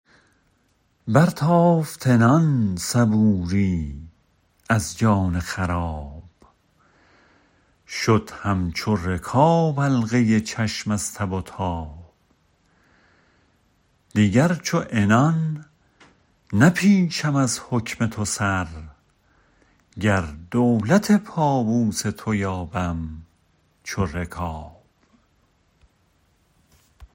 برتافت عنان صبوری از جان خراب شد همچو ر کاب حلقه چشم از تب و تاب دیگر چو عنان نپیچم از حکم تو سر گر دولت پابوس تو یابم چو رکاب